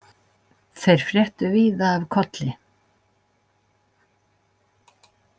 Þeir fréttu víða af Kolli.